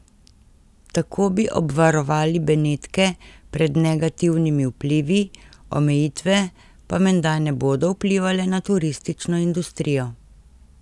Tako bi obvarovali Benetke pred negativnimi vplivi, omejitve pa menda ne bodo vplivale na turistično industrijo.